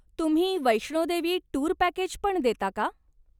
तुम्ही वैष्णोदेवी टूर पॅकेजपण देता का?